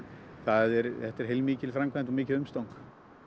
þetta er heilmikil framkvæmd og mikið umstang